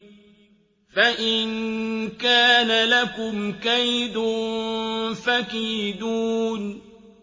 فَإِن كَانَ لَكُمْ كَيْدٌ فَكِيدُونِ